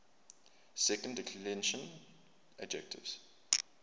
second declension adjectives